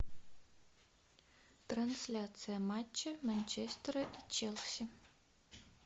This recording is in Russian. трансляция матча манчестера и челси